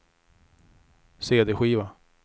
cd-skiva